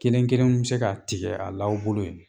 Kelen kelen bɛ se k'a tigɛ a la aw bolo yen